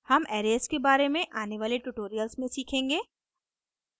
हम arrays के बारे में आने वाले ट्यूटोरियल्स में सीखेंगे